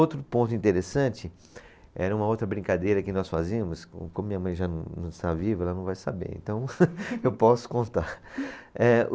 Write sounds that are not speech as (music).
Outro ponto interessante, era uma outra brincadeira que nós fazíamos, com como minha mãe já não está viva, ela não vai saber, então (laughs) eu posso contar. É